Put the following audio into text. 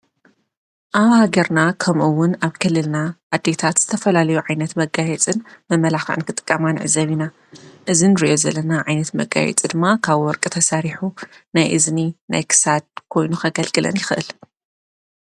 ኣብ ሃገርና ከምኡውን ኣብ ከልልና ኣዲታት ዝተፈላለዩ ዓይነት መጋየጽን መመላኽን ክጥቃማንዕ ዘቢና እዝን ርዮ ዘለና ዓይነት መጋይጽ ድማ ካብ ወርቂ ተሳሪሑ ናይ እዝኒ ናይክሳድ ኮይኑ ኸገልግለን ይኽእል።